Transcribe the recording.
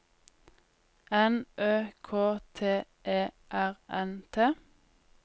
N Ø K T E R N T